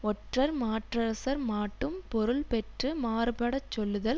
ஒற்றர் மாற்றரசர்மாட்டும் பொருள் பெற்று மாறுபடச் சொல்லுதல்